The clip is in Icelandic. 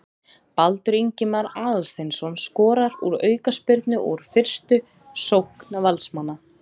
Baldur Ingimar Aðalsteinsson skorar úr aukaspyrnu og úr fyrstu sókn Valsmanna.